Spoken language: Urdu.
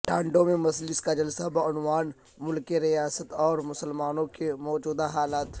تانڈور میں مجلس کا جلسہ بعنوان ملک ریاست اور مسلمانوں کے موجودہ حالات